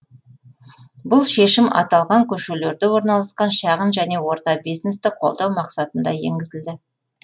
бұл шешім аталған көшелерде орналасқан шағын және орта бизнесті қолдау мақсатында енгізілді